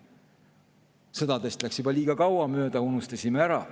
Sõdades oli juba liiga kaua aega mööda läinud, me unustasime ära.